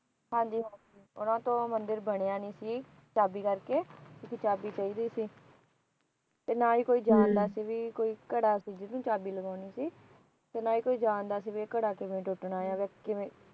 ਹਾ ਜੀ ਹਾ ਜੀ ਉਹਨਾ ਤੋਂ ਮੰਦਿਰ ਬਣਇਆ ਨਹੀ ਸੀ ਚਾਬੀ ਕਰਕੇ ਕਿਉਕਿ ਚਾਬੀ ਚਾਹਿਦੀ ਸੀ ਤੇ ਨਾ ਹੀ ਕੋਈ ਜਾਣਦਾ ਸੀ ਭੀ ਘੜੀ ਜਿਹਨੂੰ ਚਾਬੀ ਲਵਾਉਣੀ ਸੀ ਕਿਵੇ ਟੁੱਟਦਾ